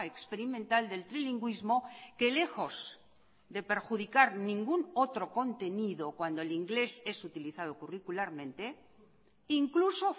experimental del trilingüismo que lejos de perjudicar ningún otro contenido cuando el inglés es utilizado curricularmente incluso